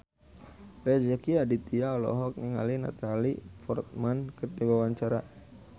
Rezky Aditya olohok ningali Natalie Portman keur diwawancara